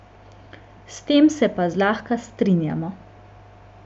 S tem se pa zlahka strinjamo.